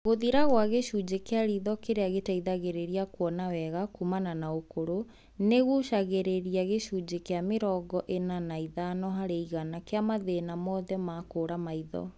Gũthira gwa gĩcunjĩ kĩa ritho kĩrĩa gĩteithagĩrĩria kuona wega kumana na ũkũrũ, nĩgũcũngagĩrĩria gĩcunjĩ gia mĩrongo ĩna na ithano harĩ igana kĩa mathĩna mothe ma kũra maitho